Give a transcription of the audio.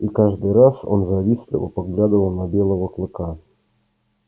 и каждый раз он завистливо поглядывал на белого клыка